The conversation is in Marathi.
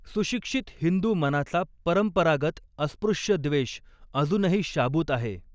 सुशिक्षित हिंदू मनाचा परंपरागत अस्पृश्यद्वेष अजूनही शाबूत आहे.